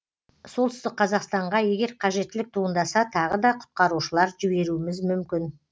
солтүстік қазақстанға егер қажеттілік туындаса тағы да құтқарушылар жіберуіміз мүмкін